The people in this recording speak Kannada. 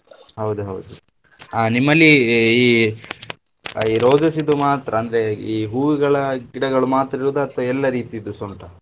ಹೌದು ಹೌದು ಆ ನಿಮ್ಮಲ್ಲಿ ಈ roses ದು ಮಾತ್ರ ಅಂದ್ರೆ ಈ ಹೂಗಳ ಗಿಡಗಳು ಮಾತ್ರ ಇರುದಾ ಅಥವಾ ಎಲ್ಲಾ ರೀತಿದುಸ ಉಂಟ?